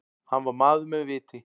Hann var maður með viti.